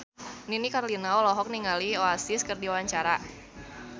Nini Carlina olohok ningali Oasis keur diwawancara